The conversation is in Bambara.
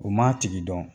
U m'a tigi dɔn